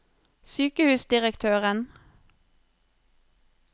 sykehusdirektøren